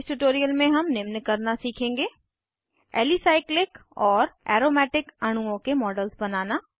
इस ट्यूटोरियल में हम निम्न करना सीखेंगे एलिसाइक्लिक और एरोमेटिक अणुओं के मॉडल्स बनाना